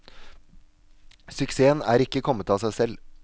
Suksessen er ikke kommet av seg selv.